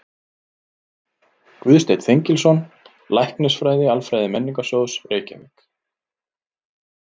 Guðsteinn Þengilsson, Læknisfræði-Alfræði Menningarsjóðs, Reykjavík